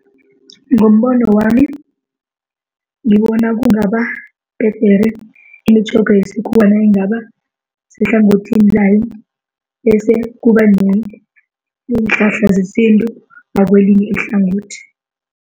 Ngombono wami, ngibona kungaba bhedere imitjhoga yesikhuwa nayingaba sehlangothini layo. Bese kuba neenhlahla zesintu ngakwelinye ihlangothi.